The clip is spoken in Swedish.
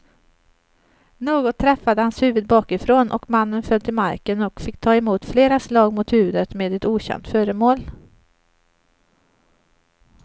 Något träffade hans huvud bakifrån och mannen föll till marken och fick ta emot flera slag mot huvudet med ett okänt föremål.